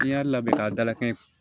N'i y'a labɛn k'a dalakɛɲɛ